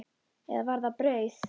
Eða var það brauð?